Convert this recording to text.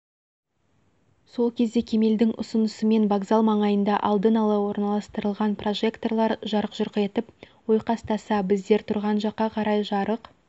сол кезде кемелдің ұсынысымен вокзал маңайында алдын ала орналастырылған прожекторлар жарқ-жұрқ етіп ойқастаса біздер тұрған жаққа қарай жарық